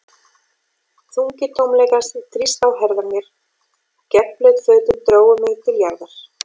Þungi tómleikans þrýsti á herðar mér, og gegnblaut fötin drógu mig til jarðar.